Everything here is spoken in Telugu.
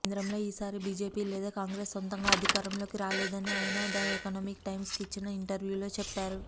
కేంద్రంలో ఈసారి బీజేపీ లేదా కాంగ్రెస్ సొంతంగా అధికారంలోకి రాలేదని ఆయన ద ఎకనామిక్ టైమ్స్కు ఇచ్చిన ఇంటర్వ్యూలో చెప్పారు